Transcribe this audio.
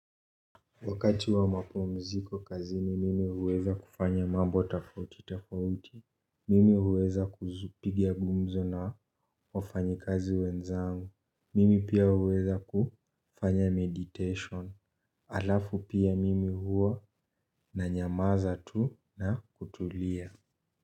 Wakati wa mapumziko kazini mimi huweza kufanya mambo tofauti tofauti. Mimi huweza kupiga gumzo na wafanyikazi wenzangu. Mimi pia huweza kufanya meditation. Alafu pia mimi huwa na nyamaza tu na kutulia.